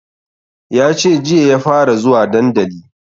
Yace jiya ya fara zuwa dandali